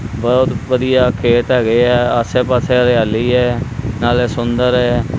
ਬਹੁਤ ਵਧੀਆ ਖੇਤ ਹੈਗੇ ਆ ਆਸੇ ਪਾਸੇ ਹਰਿਆਲੀ ਹ ਨਾਲੇ ਸੁੰਦਰ--